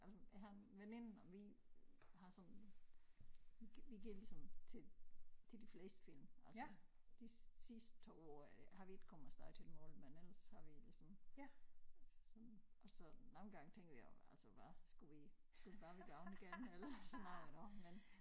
Jeg har en veninde og vi har sådan vi går ligesom til til de fleste film altså de sidste 2 år er det har vi ikke kommet af sted til mange men ellers har vi ligesom sådan og så nogle gange tænker vi altså hvad skulle vi skulle vi bare være gået igen eller sådan noget iggå men